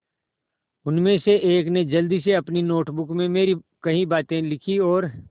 उनमें से एक ने जल्दी से अपनी नोट बुक में मेरी कही बातें लिखीं और